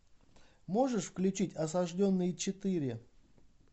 можешь включить осажденные четыре